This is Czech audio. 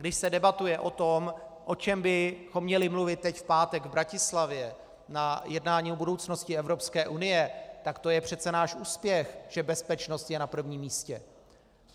Když se debatuje o tom, o čem bychom měli mluvit teď v pátek v Bratislavě na jednání o budoucnosti Evropské unie, tak to je přece náš úspěch, že bezpečnost je na prvním místě.